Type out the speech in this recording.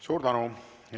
Suur tänu!